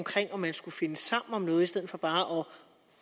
om man skulle finde sammen om noget i stedet for bare at